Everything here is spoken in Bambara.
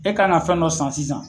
E ka na fɛn dɔ san sisan